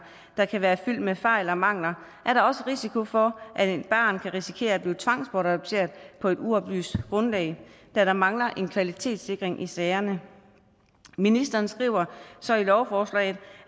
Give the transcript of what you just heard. der kan være fyldt med fejl og mangler er der også risiko for at et barn kan risikere at blive tvangsbortadopteret på et uoplyst grundlag da der mangler en kvalitetssikring i sagerne ministeren skriver så i lovforslaget